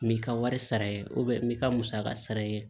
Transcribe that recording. N m'i ka wari sara ye n bɛ ka musaka sara ye